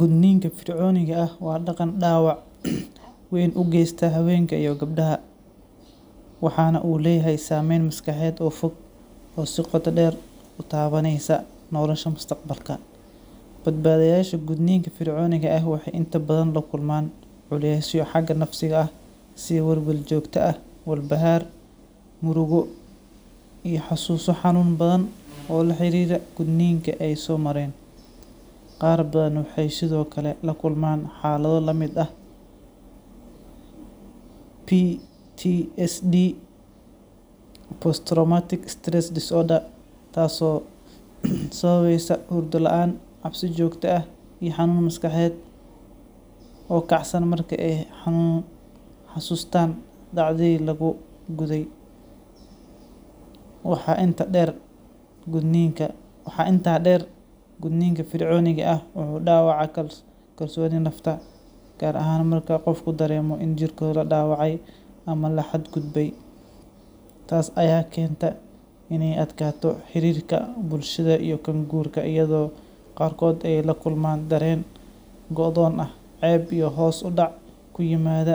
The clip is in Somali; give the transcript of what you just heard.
Gudniinka fircooniga ah waa dhaqan dhaawac weyn u geysta haweenka iyo gabdhaha, waxaana uu leeyahay saameyn maskaxeed oo fog oo si qoto dheer u taabanaysa noloshooda mustaqbalka. Badbaadayaasha gudniinka fircooniga ah waxay inta badan la kulmaan culeysyo xagga nafsiga ah sida welwel joogto ah, walbahaar, murugo iyo xusuuso xanuun badan oo la xiriira gudniinkii ay soo mareen. Qaar badan waxay sidoo kale la kulmaan xaalado la mid ah PTSD post-traumatic stress disorder, taasoo sababaysa hurdo la’aan, cabsi joogto ah, iyo xanuun maskaxeed oo kacsan marka ay xusuustaan dhacdadii lagu guday. Waxaa intaa dheer, gudniinka fircooniga ah wuxuu dhaawacaa kalsoonida nafta, gaar ahaan marka qofku dareemo in jirkooda la dhaawacay ama la xadgudbay. Taas ayaa keenta inay adkaato xiriirka bulshada iyo kan guurka, iyadoo qaarkood ay la kulmaan dareen go’doon ah, ceeb, iyo hoos u dhac ku yimaada